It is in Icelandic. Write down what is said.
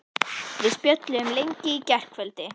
Við spjölluðum lengi í gærkvöldi.